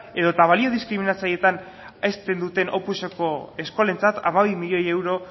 edota balio diskriminatzaileetan hezten duten opuseko eskolentzat hamabi milioi euro